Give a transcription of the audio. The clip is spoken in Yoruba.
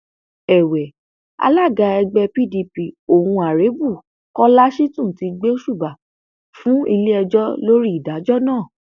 èwe alága ẹgbẹ pdp on arebu kọlá shitun ti gbósùbà fún iléẹjọ lórí ìdájọ náà